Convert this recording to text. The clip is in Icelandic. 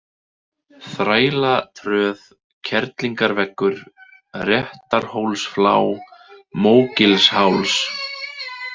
Þrælatröð, Kerlingarveggur, Réttarhólsflá, Mógilsháls